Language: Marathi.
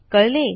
कळले